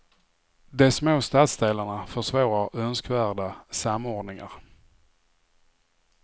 De små stadsdelarna försvårar önskvärda samordningar.